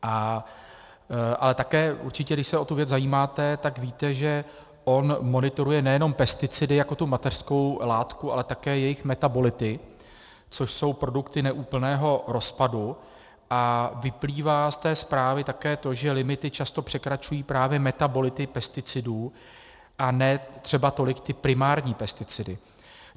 Ale také určitě, když se o tu věc zajímáte, tak víte, že on monitoruje nejenom pesticidy jako tu mateřskou látku, ale také jejich metabolity, což jsou produkty neúplného rozpadu, a vyplývá z té zprávy také to, že limity často překračují právě metabolity pesticidů a ne třeba tolik ty primární pesticidy.